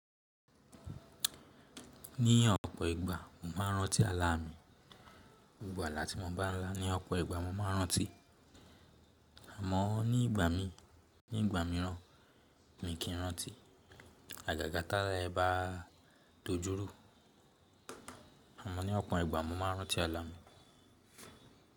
Ní ọ̀pọ̀ ìgbà mo máa ń rántí àlà mi. Gbogbo àlá tí mo bá ń là ni ọ̀pọ̀ ìgbà mo máa ń rántí. Àmọ́ ní ìgbà mi, ní ìgbà mìíràn mi kì í n rántí. Àgàgà tí àlá yẹn bá dojú rú. Àmọ́ ní ọ̀pọ̀ ìgbà mo máa ń rántí àlà mi.